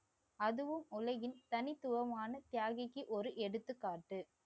அதுவும் உலகின் தனித்துவமான தியாகிக்கு ஒரு எடுத்துக்காட்டு